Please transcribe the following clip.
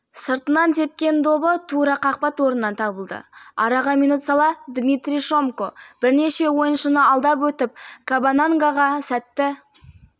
бес-алты қапты осылай лақтырды дейді оқиға куәгері ойынды қос команда да бақылаумен бастады үш ойын қорытындысы